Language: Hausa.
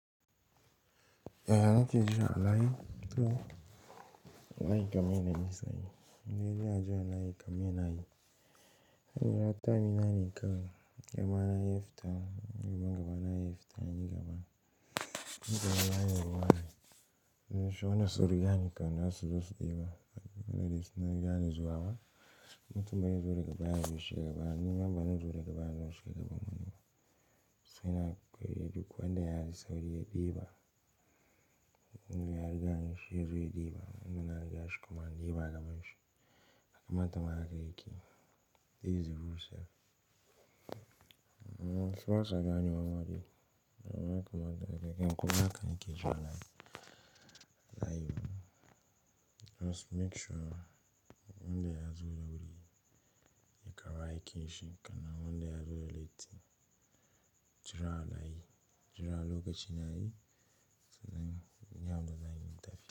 Yaya nake jira a layi, toh a layi kamine na yi saye. Inda yaji alayi kamine na yi. Zan jira time dina ne kawai, yamma na yafi ta, yamma gaba na yafi ta yayi gaba. In ka ga layi a ruwa ne, shiona suru gani kan dasu dosu ɗiba. Wannan dai su rigani zuwa ba. Mutum ba zai zo daga baya zai wuce gaba, ni yamma bana zo daga baya zan wuce gaba mutun ba. Sai na koyi yadu kuwa inda yayi sauri yayi ɗiba. Indai ya rigani shi yazo ya ɗiba. Indan na riga shi kuma in ɗiba a gaban shi. A kamata haka yake. These rules. Shiwasa gani mamadi. Ya kamata ka yayi ƙi in kusa ka ni ke jira a layi. A layi munin. Just make sure wanda yazo da wuri ya kawo aiki shi. Kana wanda yazo ya latti jira a layi. Jira a lokocin yayi. Sai zan iya huda zanyi tafiya.